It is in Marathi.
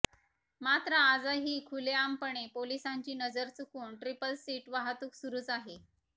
मात्र आजही खुलेआमपणे पोलिसांची नजर चुकवून ट्रिपल सीट वाहतुक सुरुच आहे